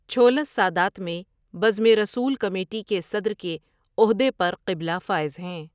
چھولس سادات میں بزم رسوؐل کمیٹی کے صدر کے عہدے پرقبلہ فائز ہیں ۔